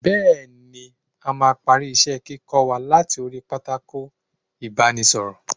Bẹẹni, a máa parí isẹ - kíkọ wa láti orí pátákó ibanisoro.